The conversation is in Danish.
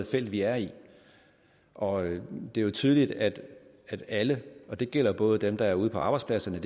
felt vi er i og det er jo tydeligt at at alle og det gælder både dem der er ude på arbejdspladserne